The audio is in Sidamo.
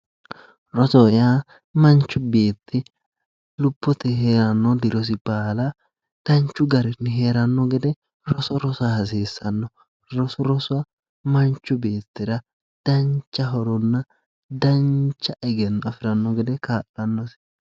rosoho yaa manchi beetti lobbote heeranno dirosi baala danchu garinni heeranno gede roso hasiissanno roso rosa manchi beettira dancha horonna dancha egenno afiranno gede kaa'lannosi.